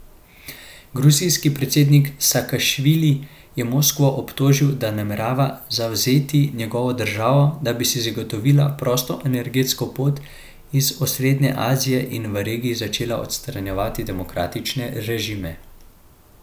Gruzijski predsednik Sakašvili je Moskvo obtožil, da namerava zavzeti njegovo državo, da bi si zagotovila prosto energetsko pot iz osrednje Azije in v regiji začela odstranjevati demokratične režime.